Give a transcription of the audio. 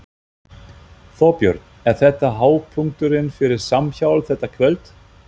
Þorbjörn: Er þetta hápunkturinn fyrir Samhjálp, þetta kvöld?